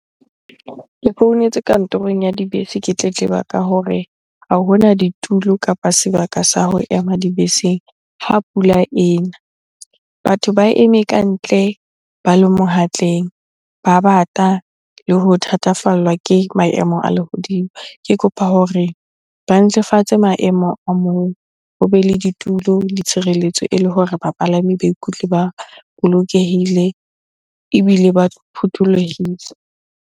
Ke founetse kantorong ya Dibese ke tletleba ka hore ha hona ditulo kapa sebaka sa ho ema dibeseng ha pula ena. Batho ba eme kantle ba lo ba bata le ho thathafallwa ke maemo a lehodimo. Ke kopa hore ba ntlafatse maemo a moo, ho be le ditulo le tshireletso ele hore bapalami ba ikutlwe ba bolokehile ebile ba phuthollohile.